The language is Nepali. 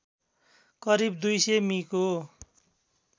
करिब २०० मि को